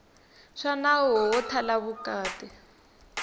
swa nawu wo thala vukati